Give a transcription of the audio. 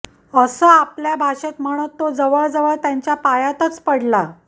असं आपल्या भाषेत म्हणत तो जवळजवळ त्यांच्या पायातच पडला